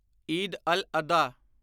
Eid al Adha